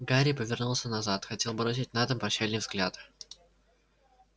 гарри повернулся назад хотел бросить на дом прощальный взгляд